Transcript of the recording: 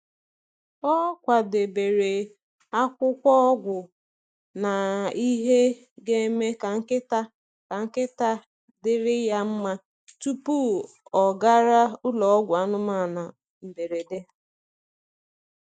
Ọ kwadebere akwụkwọ ọgwụ na ihe ga-eme ka nkịta ka nkịta dịrị ya mma tupu ọ gara ụlọ ọgwụ anụmanụ mberede.